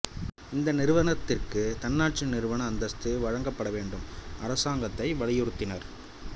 இந்த நிறுவனத்திற்கு தன்னாட்சி நிறுவன அந்தஸ்து வழங்கப்பட வேண்டும் அரசாங்கத்தை வலியுறுத்தினார்